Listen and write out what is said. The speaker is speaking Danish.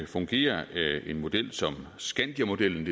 fungerer en model som skandiamodellen